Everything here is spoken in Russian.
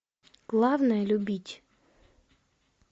главное любить